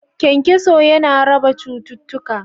Kyankyaso ya na raba cututtuka